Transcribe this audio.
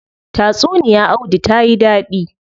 Tatsuniya audu tayi dadi.